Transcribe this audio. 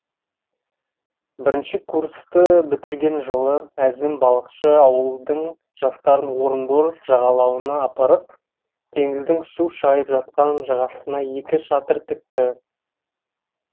бірінші курсты бітірген жылы әзім балықшы ауылдың жастарын орынбор жағалауына апарып теңіздің су шайып жатқан жағасына екі шатыр тікті